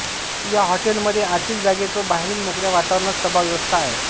या हॉटेल मध्ये आतिल जागेत व बाहेरील मोकळ्या वातावरणात सभा व्यवस्था आहे